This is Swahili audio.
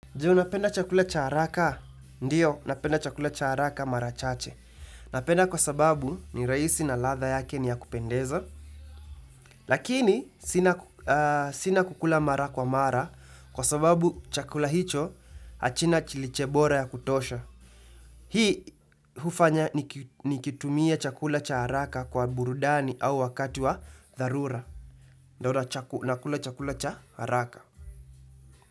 Juu, napenda chakula cha haraka. Ndiyo, napenda chakula cha haraka marachache. Napenda kwa sababu ni rahisi na latha yake ni ya kupendeza. Lakini, sina kukula mara kwa mara kwa sababu chakula hicho achina chilichebora ya kutosha. Hii, hufanya ni kitumie chakula cha haraka kwa burudani au wakatu wa dharura. Ndora, nakula chakula cha haraka.